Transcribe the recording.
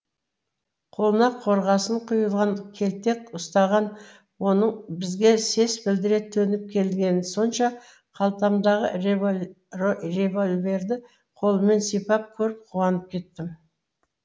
қолына қорғасын құйылған келтек ұстаған оның бізге сес білдіре төніп келгені сонша қалтамдағы револьверді қолыммен сипап көріп қуанып кеттім